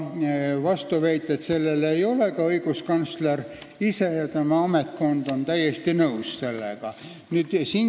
Vastuväiteid sellele ei ole, ka õiguskantsler ise ja tema ametkond on sellega täiesti nõus.